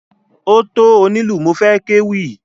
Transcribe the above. Ó tó onílù mo fẹ́ kéwì.